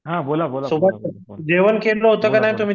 हा हा बोला बोला